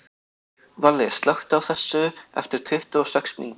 Valli, slökktu á þessu eftir tuttugu og sex mínútur.